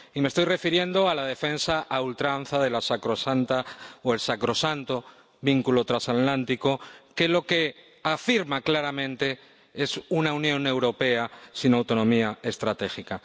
Y me estoy refiriendo a la defensa a ultranza del sacrosanto vínculo transatlántico, que lo que afirma claramente es una Unión Europea sin autonomía estratégica.